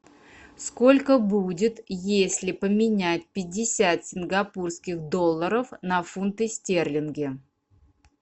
сколько будет если поменять пятьдесят сингапурских долларов на фунты стерлинги